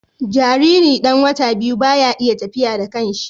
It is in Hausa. Jariri ɗan wata biyu baya iya tafiya da kanshi